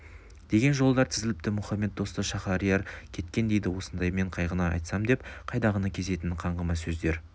деген жолдар тізіліпті мухаммед досты шаһариар кеткен дейді осындаймен қайғыны айтам деп қайдағыны кезетін қаңғыма сөздер